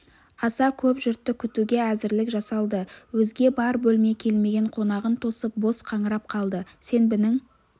аса көп жұртты күтуге әзірлік жасалды өзге бар бөлме келмеген қонағын тосып бос қаңырап қалды сенбінің